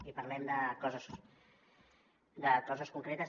i parlem de coses concretes